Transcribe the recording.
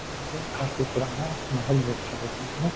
काफ़ी पुराना महल जैसा देखने में --